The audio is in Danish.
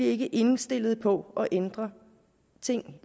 ikke indstillet på at ændre ting